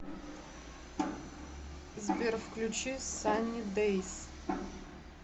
сбер включи санни дэйс